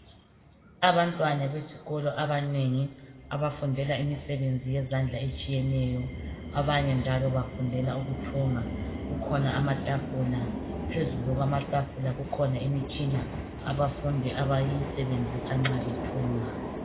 Abantwana besikolo abanengi, abafundela imisebenzi yezandla etshiyeneyo. Abanye njalo bafundela ukuthunga. Kukhona amatafula, phezulu kwamatafula kukhona imitshina abafundi abayisebenzisa nxa bethunga.